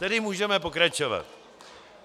Tedy můžeme pokračovat.